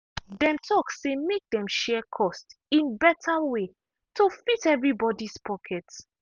dem talk say make dem share cost in better way to fit everybody’s pocket.